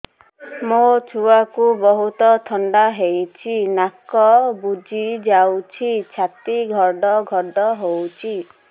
ମୋ ଛୁଆକୁ ବହୁତ ଥଣ୍ଡା ହେଇଚି ନାକ ବୁଜି ଯାଉଛି ଛାତି ଘଡ ଘଡ ହଉଚି